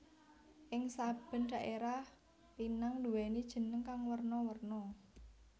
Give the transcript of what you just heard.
Ing saben dhaérah pinang nduwèni jeneng kang werna werna